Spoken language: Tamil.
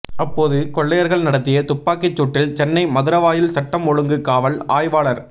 அப்போது கொள்ளையர்கள் நடத்திய துப்பாக்கிச்சூட்டில் சென்னை மதுராவாயல் சட்டம் ஒழுங்கு காவல் ஆய்வாளர்